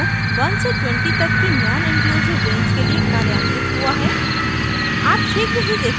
यहाँ for loop 1 से 20 तक की नॉनइंक्लूसिव रेंज के लिए कार्यान्वित हुआ है